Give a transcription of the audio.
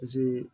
Misi